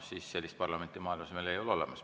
Sellist parlamenti, ei ole maailmas olemas.